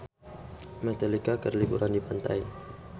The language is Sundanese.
Metallica keur liburan di pantai